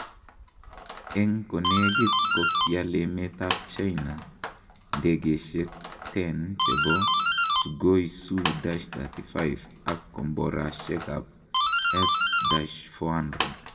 En konegiit kogiaal emet ab China ndegeisiek 10 chebo Sukhoi Su-35 ak komboraisiek ab S-400.